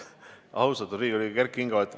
Austatud Riigikogu liige Kert Kingo!